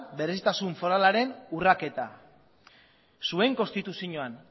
berezitasun foralaren urraketa zuen konstituzioan